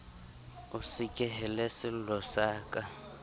o sekehele sello sa ka